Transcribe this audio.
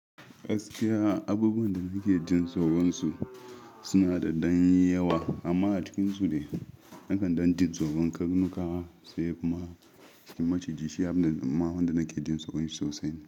Gaskiya abubuwan da nake jin tsoron su suna da ɗan yawa amma a cikinsu dai. Nakan ɗan jin tsoron karnuka sai kuma maciji shi abin da ma wanda nake jin tsoron shi sosai ne.